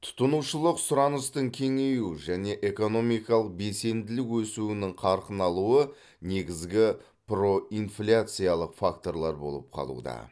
тұтынушылық сұраныстың кеңеюі және экономикалық белсенділік өсуінің қарқын алуы негізгі проинфляциялық факторлар болып қалуда